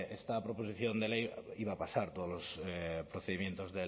esta proposición de ley iba a pasar todos los procedimientos